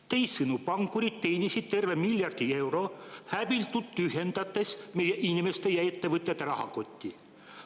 Teisisõnu, pankurid teenisid tervelt miljard eurot, häbitult tühjendades meie inimeste ja ettevõtjate rahakotti.